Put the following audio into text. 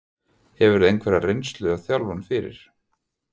Hefurðu einhverja reynslu af þjálfun fyrir?